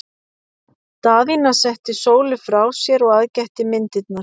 Daðína setti Sólu frá sér og aðgætti myndirnar.